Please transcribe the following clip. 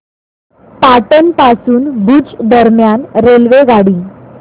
पाटण पासून भुज दरम्यान रेल्वेगाडी